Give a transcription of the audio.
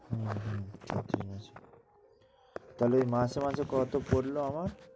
হম হম হম তালে মাসে মাসে কত পড়লো আমার